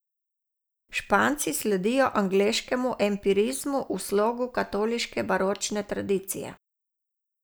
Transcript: Španci sledijo angleškemu empirizmu v slogu katoliške baročne tradicije.